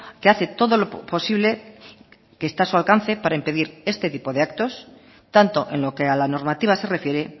que hace todo lo posible que está a su alcance para impedir este tipo de actos tanto en lo que a la normativa se refiere